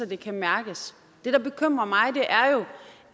det kan mærkes det der bekymrer mig